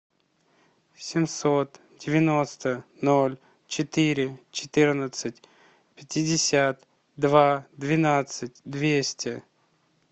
семьсот девяносто ноль четыре четырнадцать пятьдесят два двенадцать двести